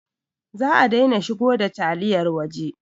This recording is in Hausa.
Za a daina shigo da taliyar waje